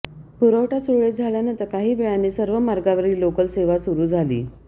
पुरवठा सुरळीत झाल्यानंतर काही वेळाने सर्व मार्गावरील लोकल सेवा सुरू झाली